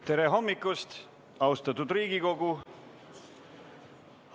Tere hommikust, austatud Riigikogu!